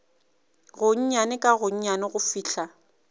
gonnyane ka gonnyane go fihla